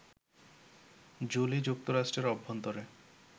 Jolie, যুক্তরাষ্ট্রের অভ্যন্তরে